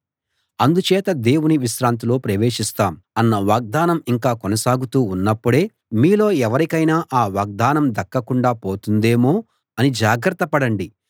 అందుచేత దేవుని విశ్రాంతిలో ప్రవేశిస్తాం అన్న వాగ్దానం ఇంకా కొనసాగుతూ ఉన్నప్పుడే మీలో ఎవరికైనా ఆ వాగ్దానం దక్కకుండా పోతుందేమో అని జాగ్రత్త పడండి